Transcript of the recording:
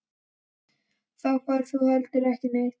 Þá ferð þú heldur ekki neitt.